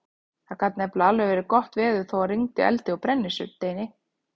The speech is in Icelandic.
Það gat nefnilega alveg verið gott veður þótt það rigndi eldi og brennisteini.